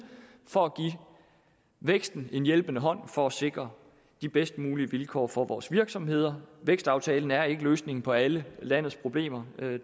for at give væksten en hjælpende hånd for at sikre de bedst mulige vilkår for vores virksomheder vækstaftalen er ikke løsningen på alle landets problemer